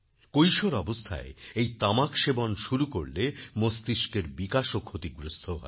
কৈশোর অবস্থায় এই তামাক সেবন শুরু করলে মস্তিস্কের বিকাশও ক্ষতিগ্রস্ত হয়